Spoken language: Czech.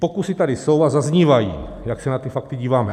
Pokusy tady jsou a zaznívají, jak se na ty fakty díváme.